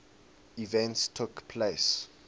events took place